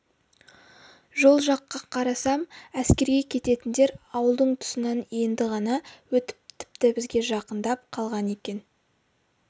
жол жаққа қарасам әскерге кететіндер ауылдың тұсынан енді ғана өтіп тіпті бізге жақындап қалған екен